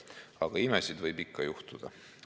Aga imesid võib ikka juhtuda.